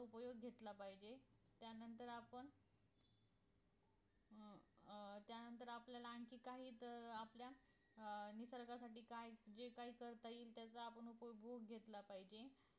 उपयोग घेतला पाहिजे त्यानंतर आपण अं त्यानंतर आपल्याला आणखी काही च आपल्या अं निसर्गासाठी काय जे काय करता येईल त्याचा आपण उपभोग घेतला पाहिजे